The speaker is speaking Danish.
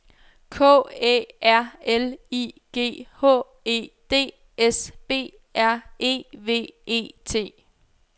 K Æ R L I G H E D S B R E V E T